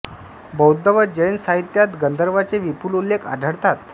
बौद्ध व जैन साहित्यांत गंधर्वांचे विपुल उल्लेख आढळतात